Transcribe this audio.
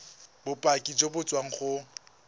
bopaki jo bo tswang go